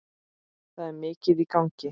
Það er mikið í gangi.